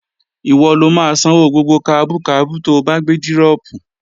Ìwọ lo máa sanwó gbogbo kabú kabú to bá gbé dírọ̀pù